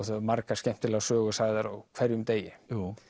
það eru margar skemmtilegar sögur sagðar á hverjum degi